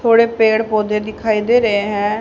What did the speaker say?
थोड़े पेड़ पौधे दिखाई दे रहे हैं।